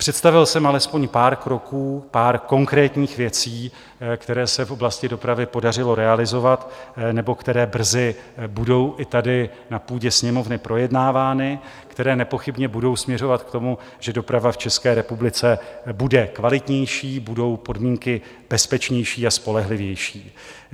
Představil jsem alespoň pár kroků, pár konkrétních věcí, které se v oblasti dopravy podařilo realizovat nebo které brzy budou i tady na půdě Sněmovny projednávány, které nepochybně budou směřovat k tomu, že doprava v České republice bude kvalitnější, budou podmínky bezpečnější a spolehlivější.